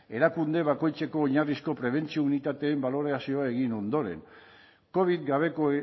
erakunde bakoitzeko oinarrizko prebentzio unitateen balorazioa egin ondoren covid gabeko